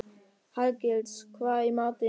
Hallgils, hvað er í matinn?